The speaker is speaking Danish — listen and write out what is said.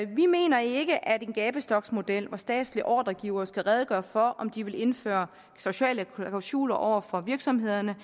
vi mener ikke at en gabestoksmodel hvor statslige ordregivere skal redegøre for om de vil indføre sociale klausuler over for virksomhederne